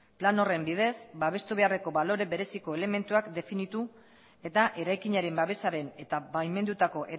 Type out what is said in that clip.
plan horren bidez babestu beharreko balore bereziko elementuak definitu eta eraikinaren babesaren eta baimendutako